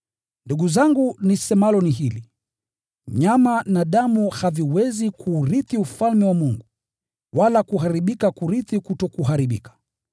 Ndugu zangu nisemalo ni hili: nyama na damu haviwezi kuurithi ufalme wa Mungu, wala kuharibika kurithi kutokuharibika.